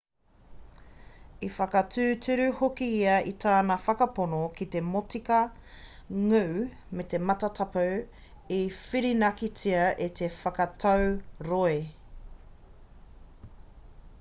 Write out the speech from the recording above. i whakatūturu hoki ia i tana whakapono ki te motika ngū ki te matatapu i whirinakitia e te whakatau roe